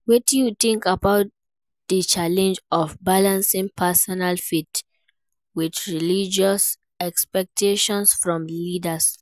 Wetin you think about di challenge of balancing personal faith with religious expectations from leaders?